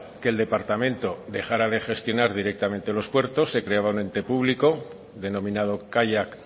que el departamento dejara de gestionar directamente los puertos se creaba un ente público denominado kaiak